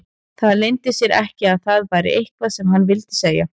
Það leyndi sér ekki að það var eitthvað sem hann vildi segja.